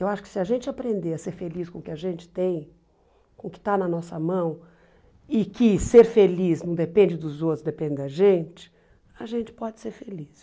Eu acho que se a gente aprender a ser feliz com o que a gente tem, com o que está na nossa mão, e que ser feliz não depende dos outros, depende da gente, a gente pode ser feliz.